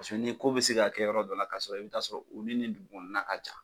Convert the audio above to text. Baseke ni ko bi se ka kɛ yɔrɔ dɔ la ka sɔrɔ i bi taa sɔrɔ olu ni dugu kɔnɔna ka jan